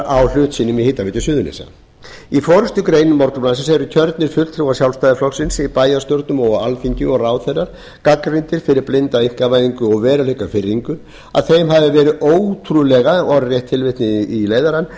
á hlut sínum í hitaveitu suðurnesja í forustugreininni eru kjörnir fulltrúar sjálfstæðisflokksins í bæjarstjórnum og á alþingi og ráðherrar gagnrýndir fyrir blinda einkavæðingu og veruleikafirringu og að þeim hafi verið ótrúlega mislagðar hendur orðrétt tilvitnun í leiðarann